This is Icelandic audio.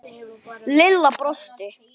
Lilla brosti.